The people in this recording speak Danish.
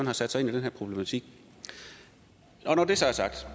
har sat sig ind i den her problematik når det så er sagt